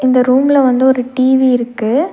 இந்த ரூம்ல வந்து ஒரு டி_வி இருக்கு.